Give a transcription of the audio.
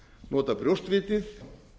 nota brjóstvitið